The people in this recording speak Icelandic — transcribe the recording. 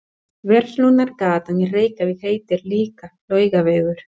Verslunargatan í Reykjavík heitir líka Laugavegur.